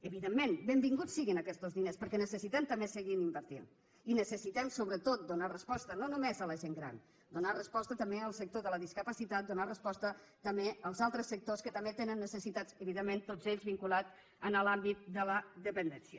evidentment benvinguts siguin aquestos diners perquè necessitem també seguir invertint i necessitem sobretot donar resposta no només a la gent gran donar resposta també al sector de la discapacitat donar resposta també als altres sectors que també tenen necessitats evidentment tots ells vinculats a l’àmbit de la dependència